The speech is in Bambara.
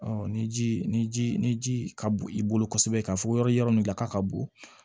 ni ji ni ji ni ji ka bo i bolo kosɛbɛ ka fɔ yɔrɔ nin ɲaka ka bon